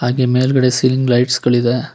ಹಾಗೆ ಮೇಲ್ಗಡೆ ceiling lights ಗಳಿದೆ.